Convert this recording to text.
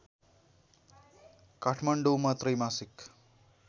काठमाडौँमा त्रैमासिक